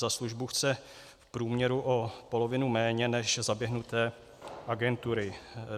Za službu chce v průměru o polovinu méně než zaběhnuté agentury.